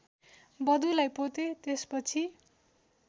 वधुलाई पोते त्यसपछि